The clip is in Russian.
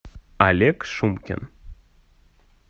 олег шумкин